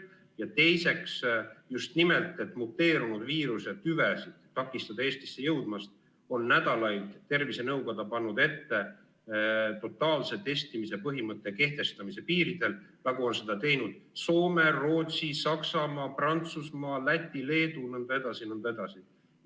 Ja teiseks, et takistada just nimelt muteerunud viiruse tüvesid Eestisse jõudmast, on tervisenõukoda nädalaid pannud ette totaalse testimise põhimõtte kehtestamist piiridel, nagu on seda teinud Soome, Rootsi, Saksamaa, Prantsusmaa, Läti, Leedu jne.